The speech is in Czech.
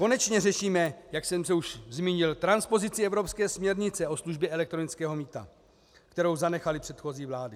Konečně řešíme, jak jsem se už zmínil, transpozici evropské směrnice o službě elektronického mýta, kterou zanechaly předchozí vlády.